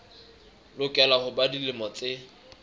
lokela ho ba dilemo tse